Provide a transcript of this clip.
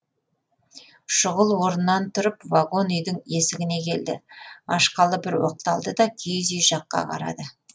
шұғыл орнынан тұрып вагон үйдің есігіне келді ашқалы бір оқталды да киіз үй жаққа қарады